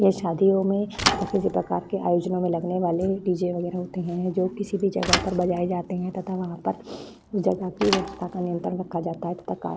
यह शादियों में तथा किसी प्रकार के आयोजनों में लगने वाले डी.जे. वगैरा होते हैं जो किसी भी जगह पर बजाए जाते हैं तथा वहां पर उस जगह की व्यवस्था का नियंत्रण रखा जाता है तथा कार में --